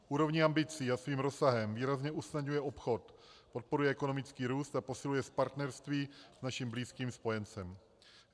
Úrovní ambicí a svým rozsahem výrazně usnadňuje obchod, podporuje ekonomický růst a posiluje partnerství s naším blízkým spojencem.